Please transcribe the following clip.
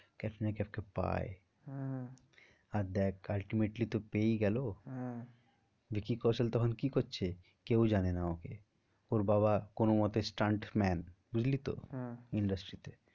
ক্যাটরিনা কাইফকে পায় আহ আর দেখ ultimately তো পেয়েই গেলো। হ্যাঁ ভিকি কৌশল তখন কি করছে? কেউ জানে না ওকে ওর বাবা কোনো মতে stunt man বুঝলি তো হ্যাঁ industry তে